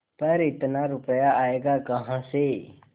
पर इतना रुपया आयेगा कहाँ से